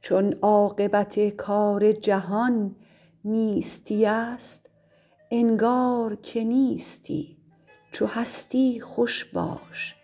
چون عاقبت کار جهان نیستی است انگار که نیستی چو هستی خوش باش